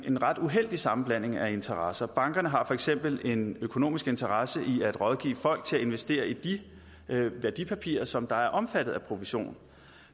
en ret uheldig sammenblanding af interesser bankerne har for eksempel en økonomisk interesse i at rådgive folk til at investere i de værdipapirer som er omfattet af provision